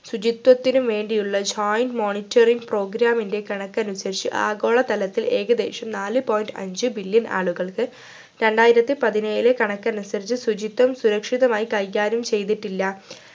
ശുചിത്വത്തിനും വേണ്ടിയുള്ള joint monitoring program ൻ്റെ കണക്കനുസരിച് ആഗോളതരത്തിൽ ഏകദേശം നാലു point അഞ്ചു billion ആളുകൾക്ക് രണ്ടായിരത്തി പതിനേഴിലെ കണക്കനുസരിച്ച് ശുചിത്വം സുരക്ഷിതമായി കൈകാര്യം ചെയ്തിട്ടില്ല